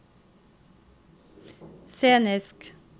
scenisk